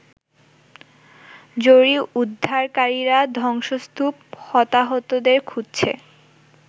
জরুরী উদ্ধারকারীরা ধ্বংসস্তূপ হতাহতদের খুঁজছে।